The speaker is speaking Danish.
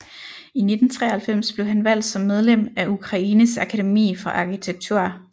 I 1993 blev han valgt som medlem af Ukraines Akademi for arkitektur